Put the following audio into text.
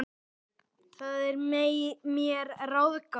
Það er mér ráðgáta